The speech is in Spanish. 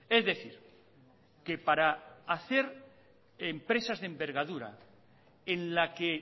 es decir que para hacer empresas de envergadura en la que